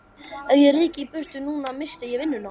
Ef ég ryki í burtu núna missti ég vinnuna.